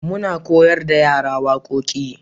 muna koyar da yara waƙoƙi